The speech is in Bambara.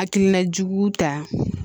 Hakilina jugu ta